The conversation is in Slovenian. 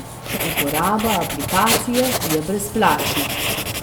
Uporaba aplikacije je brezplačna!